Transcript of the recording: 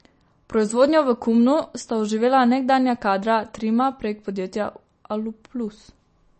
Proizvodnjo v Komnu sta oživela nekdanja kadra Trima prek podjetja Aluplus.